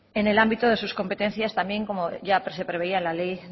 en el ámbito de sus competencias también como ya se preveía en la ley